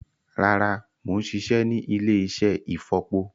Rárá, mo ń ṣiṣẹ́ ní ilé-iṣẹ́ ìfọ̀po